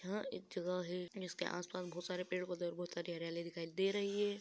यहाँ एक जगह है जिसके आस-पास बहुत सारे पेड़- पौधे और बहुत सारी हरियाली दिखाई दे रही है।